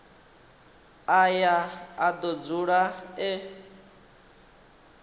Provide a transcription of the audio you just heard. aya a do dzula e